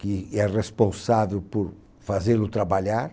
que é responsável por fazê-lo trabalhar.